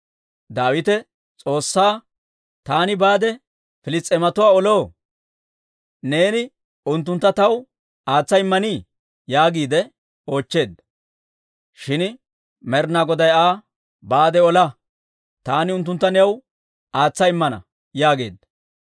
Daawite S'oossaa, «Taani baade Piliss's'eematuwaa oloo? Neeni unttunttu taw aatsa immanii?» yaagiide oochcheedda. Shin Med'inaa Goday Aa, «Baade ola. Taani unttuntta new aatsa immana» yaageedda.